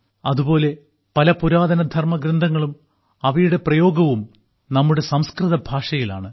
അതുപോലെ പല പുരാതന ധർമഗ്രന്ഥങ്ങളും അവയുടെ പ്രയോഗവും നമ്മുടെ സംസ്കൃത ഭാഷയിലാണ്